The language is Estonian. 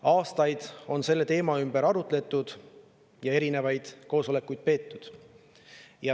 Aastaid on selle teema üle arutletud ja erinevaid koosolekuid peetud.